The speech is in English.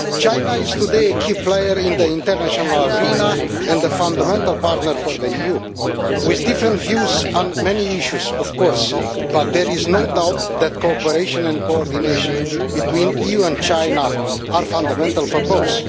China is today a key player in the international arena and a fundamental partner for the EU with different views on many issues, of course, but there is no doubt that cooperation and coordination between the EU and China are fundamental for both.